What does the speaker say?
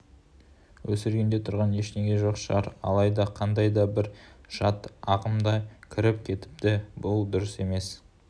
өсіргенде тұрған ештеңе жоқ шығар алайда қандай да бір жат ағымға кіріп кетіпті дұрыс емес